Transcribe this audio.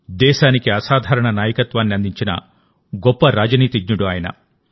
దేశానికి అసాధారణ నాయకత్వాన్ని అందించిన గొప్ప రాజనీతిజ్ఞుడు ఆయన